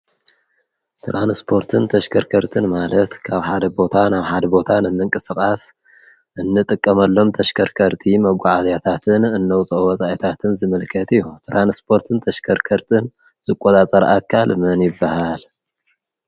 ተራንስፖርትን ተሽከርከርትን ማለት ካብ ሓደ ቦታ ኣብ ሓደ ቦታ ንምንቂቅሰቓስ እንጥቀመሎም ተሽከርከርቲ መጓዓዚያታትን እነውፀኦ ወፃኤታትን ዝምልከት ኢዩ፡፡ ተራንስፖርትን ተሸከርከርትን ዝቆጻጸር አካል መን ይበሃል?